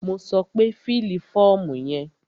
Mo sọ pé fílì fọ́ọ̀mù yẹn!